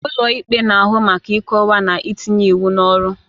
Ụlọ ikpe na-ahụ maka ịkọwa na itinye iwu n'ọrụ.